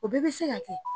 O bɛɛ bɛ se ka kɛ